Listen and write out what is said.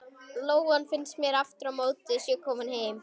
Lóan finnst mér aftur á móti að sé komin heim.